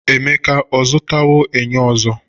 Emeka ọ zụtawo enyo ọzọ?